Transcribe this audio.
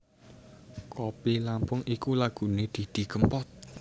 Kopi Lampung iku lagune Didi Kempot